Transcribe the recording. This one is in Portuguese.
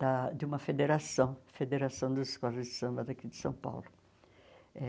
ah de uma federação, Federação das Escolas de Samba daqui de São Paulo eh.